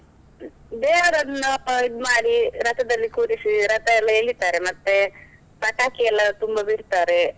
ದೇವರನ್ನು ಇದ್ ಮಾಡಿ ರಥದಲ್ಲಿ ಕೂರಿಸಿ ರಥಯೆಲ್ಲಾ ಎಳಿತಾರೆ ಮತ್ತೆ, ಪಟಾಕೀಯೆಲ್ಲಾ ತುಂಬಾ ಬಿಡ್ತಾರೇ.